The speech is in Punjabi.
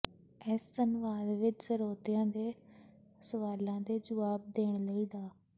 ਇਸ ਸੰਵਾਦ ਵਿੱਚ ਸਰੋਤਿਆਂ ਦੇ ਸਵਾਲਾਂ ਦੇ ਜੁਆਬ ਦੇਣ ਲਈ ਡਾ